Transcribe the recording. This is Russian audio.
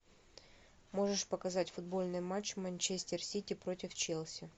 можешь показать футбольный матч манчестер сити против челси